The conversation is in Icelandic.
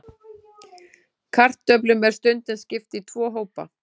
Kartöflum er stundum skipt í tvo hópa.